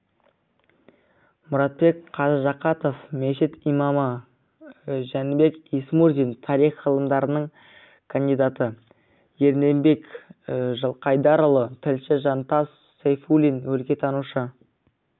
мұратбек қажы жақатов мешіт имамы жәнібек исмурзин тарих ғылымдарының кандидаты ерденбек жылқайдарұлы тілші жантас сафуллин өлкетанушы